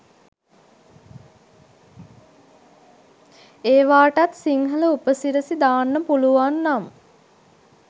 ඒවාටත් සිංහල උපසිරසි දාන්න පුලුවන්නම්